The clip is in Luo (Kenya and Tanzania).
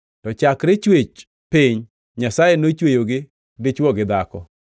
To chakre chwech piny, Nyasaye nochweyogi dichwo gi dhako. + 10:6 \+xt Chak 1:27\+xt*